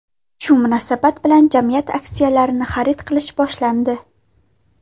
Shu munosabat bilan jamiyat aksiyalarini xarid qilish boshlandi.